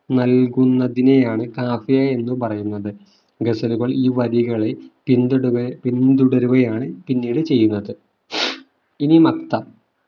നല്കുന്നതിനെയാണ് കാഫിയ എന്ന് പറയുന്നത് ഗസലുകൾ ഈ വരികളെ പിന്തുട പിന്തുടരുകയാണ് പിന്നീട് ചെയ്യുന്നത് ഇനി മക്ത